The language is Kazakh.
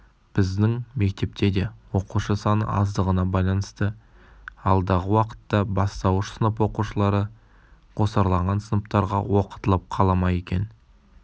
біздің мектепте де оқушы саны аздығына байланысты алдағы уақытта бастауыш сынып оқушылары қосарланған сыныптарға оқытылып қала ма екен